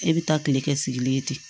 E bɛ taa tile kɛ sigilen ye ten